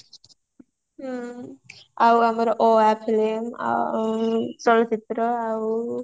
ହ୍ମ ଆଉ ଆମର ଅ ଆ filmy ଆଉ ଚଳଚିତ୍ର ଆଉ